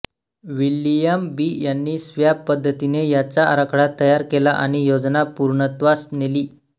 William B यांनी slab पद्दतीने याचा आराखडा तयार केला आणि योजना पूर्णत्वास नेली